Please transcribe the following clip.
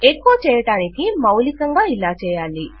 ఎకొ చేయడానికి మౌలికంగా ఇలాచేయాలి